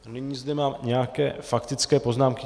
Nyní zde mám nějaké faktické poznámky.